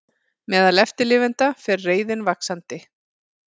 Meðal eftirlifenda fer reiðin vaxandi